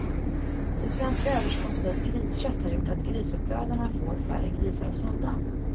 Det svenska överskottet av griskött har gjort att grisuppfödarna får färre grisar sålda.